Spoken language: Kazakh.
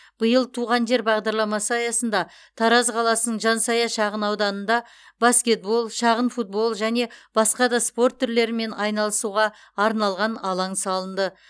биыл туған жер бағдарламасы аясында тараз қаласының жансая шағын ауданында баскетбол шағын футбол және басқа да спорт түрлерімен айналысуға арналған алаң салынды